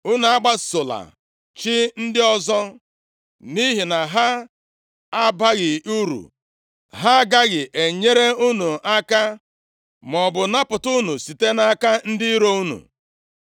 Unu agbasola chi ndị ọzọ, nʼihi na ha abaghị uru. Ha agaghị enyere unu aka maọbụ napụta unu site nʼaka ndị iro unu.